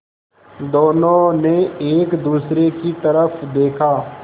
दोनों ने एक दूसरे की तरफ़ देखा